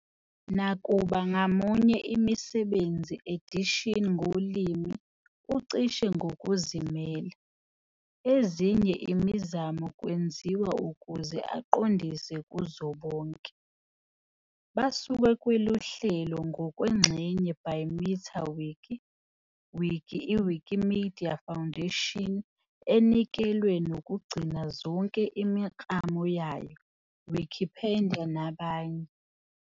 Nakuba ngamunye imisebenzi edition ngolimi ucishe ngokuzimela, ezinye imizamo kwenziwa ukuze aqondise kuzo bonke. Basuke kweLuhlelo ngokwengxenye by Meta-Wiki, Wiki i Wikimedia Foundation enikelwe nokugcina zonke imiklamo yayo, Wikipedia nabanye.